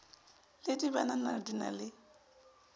le dibanana di na le